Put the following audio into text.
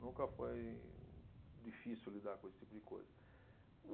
Nunca foi difícil lidar com esse tipo de coisa.